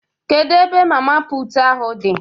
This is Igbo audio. Kedu ebe mama puutu ahụ dị?